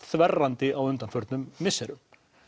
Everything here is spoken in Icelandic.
þverrandi á undanförnum misserum